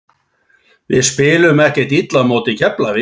Við spiluðum ekkert illa á móti Keflavík.